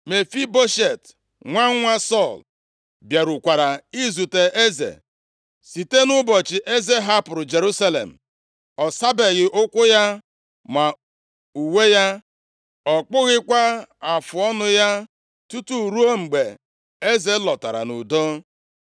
Mefiboshet, nwa nwa Sọl bịarukwara izute eze. Site nʼụbọchị eze hapụrụ Jerusalem, ọ sabeghị ụkwụ ya, ma uwe ya, ọ kpụghịkwa afụọnụ ya tutu ruo mgbe eze lọtara nʼudo.